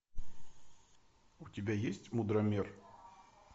у тебя есть мудромер